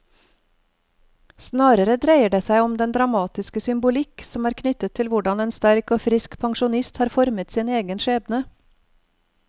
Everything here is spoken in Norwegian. Snarere dreier det seg om den dramatiske symbolikk som er knyttet til hvordan en sterk og frisk pensjonist har formet sin egen skjebne.